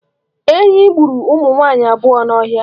Enyi gburu ụmụ nwaanyị abụọ n'ọhịa.